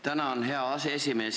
Tänan, hea aseesimees!